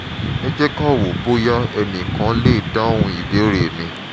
ẹ jẹ́ ká wò bóyá ẹnìkan lè dáhùn ìbéèrè mi